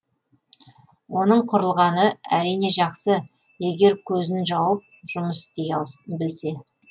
оның құрылғаны әрине жақсы егер көзін жауып жұмыс істей білсе